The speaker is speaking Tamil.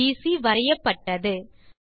வில் பிசி வரையப்பட்டது